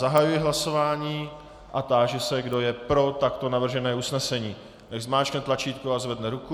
Zahajuji hlasování a táži se, kdo je pro takto navržené usnesení, nechť zmáčkne tlačítko a zvedne ruku.